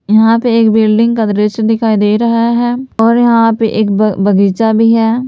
यहां पे एक बिल्डिंग का दृश्य दिखाई दे रहा है और यहां पर एक बगीचा भी है।